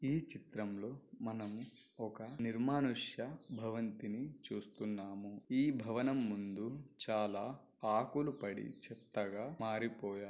మనం ఒక నిర్మానుష్య భవంతిని చూస్తున్నాం. ఈ భవనం ముందు చాలా ఆకులు పడి చెత్తగా--